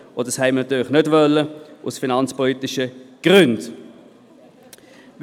Dies wollten wir natürlich aus finanzpolitischen Gründen nicht.